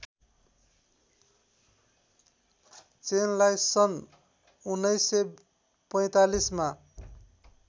चेनलाई सन् १९४५ मा